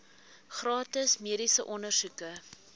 gratis mediese ondersoeke